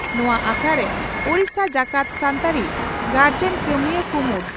ᱱᱚᱣᱟ ᱟᱠᱷᱲᱟᱨᱮ ᱳᱰᱤᱥᱟ ᱡᱟᱠᱟᱛ ᱥᱟᱱᱛᱟᱲᱤ ᱜᱟᱨᱡᱚᱱ ᱠᱟᱹᱢᱤᱭᱟᱹ ᱠᱩᱢᱩᱴ